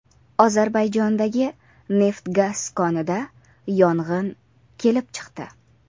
Ozarbayjondagi neft-gaz konida yong‘in kelib chiqdi.